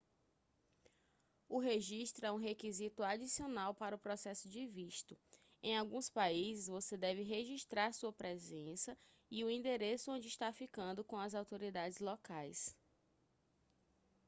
o registro é um requisito adicional para o processo de visto em alguns países você deve registrar sua presença e o endereço onde está ficando com as autoridades locais